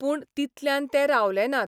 पूण तितल्यान ते रावले नात.